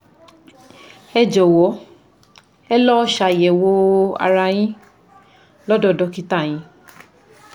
Ẹ jọ̀wọ́ ẹ lọ ṣàyẹ̀wò ara yín lọ́dọ̀ dọ́kítà yín